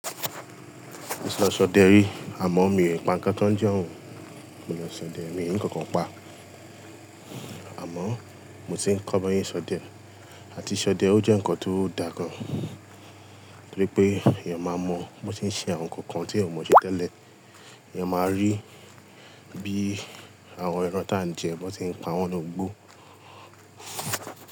Mo ti lọ ṣọdẹ rí àmọ́ mi n pa ńǹkan kan ń jo un. Mo lọ ṣọdẹ mi n rí nǹkankan pa. Àmọ́ mo ti ń kọ́ bí wọ́n ṣe n ṣọdẹ àti ṣọdẹ ó jẹ́ ǹnkan tó dá gan-an torí pé èèyàn máa mọ bó ti ń ṣe àwọn ǹnkan kan tí ẹ̀èyàn ò mọ̀ ṣe tẹ́lẹ̀. Èèyàn máa rí bí àwọn ẹran tà ń jẹ bó n ṣe ń pa wọ́n nínú igbó.